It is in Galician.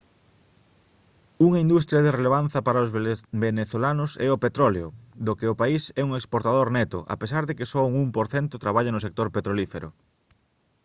unha industria de relevancia para os venezolanos é o petróleo do que o país é un exportador neto a pesar de que só un 1 % traballa no sector petrolífero